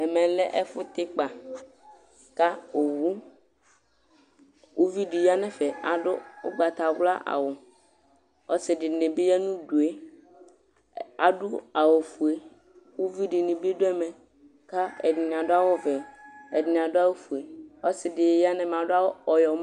Ɛmɛ lɛ ɛfu yɛ tɛ ikpa Ku owu, Uʋiɖi ya nu ɛfɛ Aɖu ugbatawlã awu Ɔsiɖini bi ya nu udu yɛ Aɖu awu fue Ku uʋi ɖini bi ɖu ɛmɛ Ku ɛɖini aɖu awu ʋɛ Ɛɖini aɖu awu fue Ɔsiɖini ya nu ɛmɛ Aɖu awu ɔyɔm